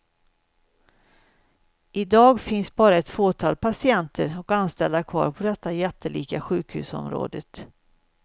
I dag finns bara ett fåtal patienter och anställda kvar på det jättelika sjukhusområdet.